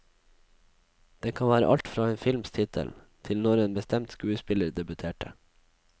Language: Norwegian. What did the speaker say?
Det kan være alt fra en films tittel, til når en bestemt skuespiller debuterte.